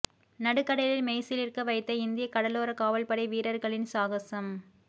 நடுக்கடலில் மெய்சிலிர்க்க வைத்த இந்திய கடலோர காவல்படை வீரர்களின் சாகசம்